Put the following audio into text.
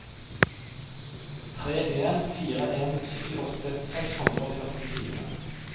tre en fire en syttiåtte seks hundre og førtifire